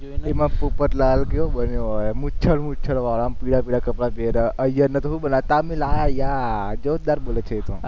તેમાં પોપટલાલ કેવો બન્યો હોય, મૂછડ મૂછડ વાળો આમ પીળા પીળા કપડાં પેર્યા, અય્યર ને કેવું બોલે તામિલ આ યા જોરદાર બોલે છે એ તો